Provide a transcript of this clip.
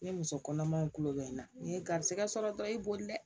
Ne muso kɔnɔmaw tulo bɛ n na ni garisigɛ sɔrɔ dɔrɔn i b'o de dɛ